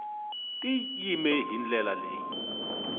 ti yime hi ndlela leyi